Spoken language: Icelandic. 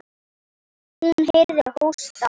Hún heyrði hósta.